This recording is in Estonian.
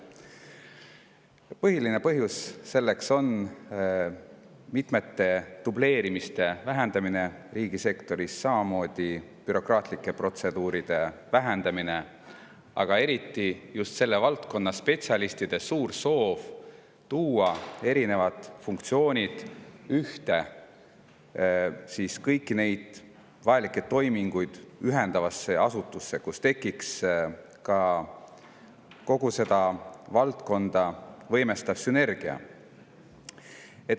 Selle põhiline põhjus on mitmete dubleerimiste vähendamine riigisektoris, samamoodi bürokraatlike protseduuride vähendamine ja eriti just selle valdkonna spetsialistide suur soov tuua erinevad funktsioonid ühte, kõiki vajalikke toiminguid ühendavasse asutusse, kus tekiks ka kogu seda valdkonda võimestav sünergia.